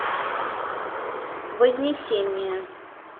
вознесение